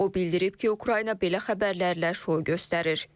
O bildirib ki, Ukrayna belə xəbərlərlə şou göstərir.